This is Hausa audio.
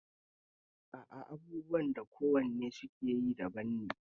A a abubuwan da ko wannen su yakeyi daban ne